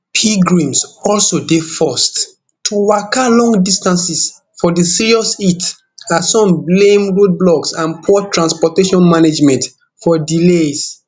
pilgrims also dey forced to waka long distances for di serious heat as some blame roadblocks and poor transportation management for delays